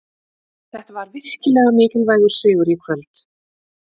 Þetta var virkilega mikilvægur sigur í kvöld.